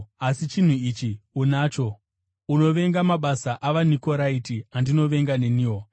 Asi chinhu ichi unacho: Unovenga mabasa avaNikoraiti, andinovenga neniwo.